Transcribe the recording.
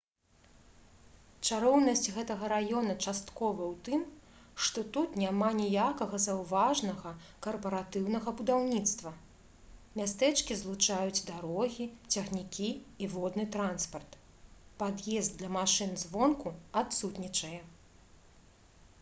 чароўнасць гэтага раёна часткова ў тым што тут няма ніякага заўважнага карпаратыўнага будаўніцтва мястэчкі злучаюць дарогі цягнікі і водны транспарт пад'езд для машын звонку адсутнічае